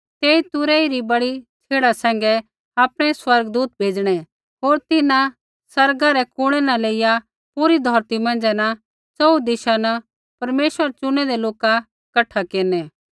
तेई तुरही री बड़ी छ़ेड़ा सैंघै आपणै स्वर्गदूत भेज़णै होर तिन्हां आसमाना रै कुणै न लेईया पूरी धौरती मौंझ़ै न च़ोहू दिशा न परमेश्वरा रै चुनैदै लोका कठा केरनै